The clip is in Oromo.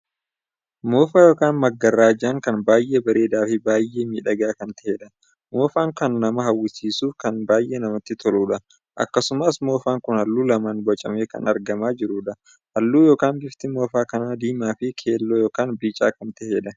Moofaa ykn magarrajaan kun baay'ee bareedaa fi baay'miidhagaa kan taheedha. moofaan kan namaa hawwisiisuuf kan baay'ee namatti toluudha. akkasumas moofaan kun halluu lamaan bocamee kan argamaa jiruudha. halluu ykn bifti moofaa kanaa diimaa fi keelloo ykn bicaa kan taheedha.